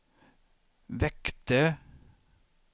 väckte